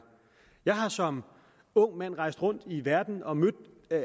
jeg har som ung mand rejst rundt i verden og mødt